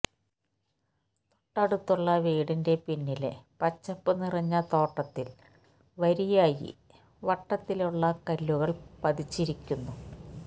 തൊട്ടടുത്തുള്ള വീടിന്റെ പിന്നിലെ പച്ചപ്പു നിറഞ്ഞ തോട്ടത്തില് വരിയായി വട്ടത്തിലുള്ള കല്ലുകള് പതിച്ചിരിക്കുന്നു